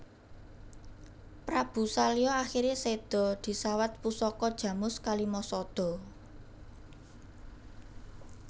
Prabu Salya akhire sedha disawat pusaka Jamus Kalimasada